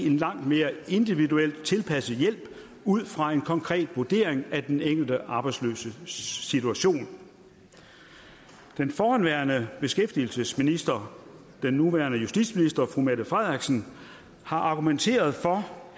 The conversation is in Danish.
en langt mere individuelt tilpasset hjælp ud fra en konkret vurdering af den enkelte arbejdsløses situation den forhenværende beskæftigelsesminister den nuværende justitsminister fru mette frederiksen har argumenteret for